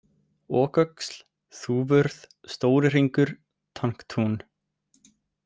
Oköxl, Þúfuurð, Stóri hringur, Tanktún